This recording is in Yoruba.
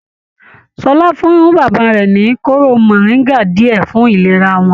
Ṣọlá fún bàbá rẹ ní kooro moringa diẹ fún ìlera wọn.